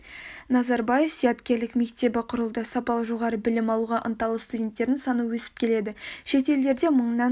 назарбаев зияткерлік мектебі құрылды сапалы жоғары білім алуға ынталы студенттердің саны өсіп келеді шет елдерде мыңнан